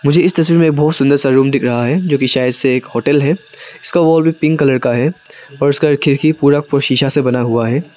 मुझे इस तस्वीर में बहुत सुंदर सा रूम दिख रहा है जो कि शायद से एक होटल है इसका वॉल भी पिंक कलर का है और उसका खिड़की पूरा शीशा से बना हुआ है।